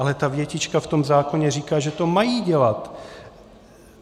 Ale ta větička v tom zákoně říká, že to mají dělat.